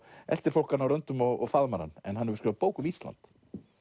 eltir fólk hann og faðmar hann en hann hefur skrifað bók um Ísland